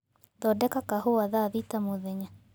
thondeka kahũa thaa thĩta mũthenya